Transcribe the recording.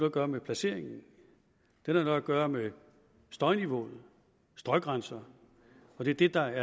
at gøre med placeringen den har noget at gøre med støjniveauet støjgrænserne og det er det der